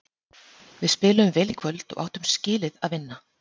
Við spiluðum vel í kvöld og áttum skilið að vinna.